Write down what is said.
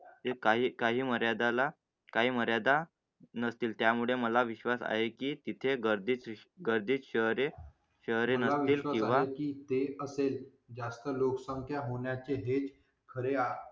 एका ही काही मर्यादा ला काही मर्यादा नसतील, त्यामुळे मला विश्वास आहे की तिथे गर्दी ची गर्दी शहरे शहरे नसतील किंवा. किती असेल जास्त लोकसंख्या होण्याचे हेच खरे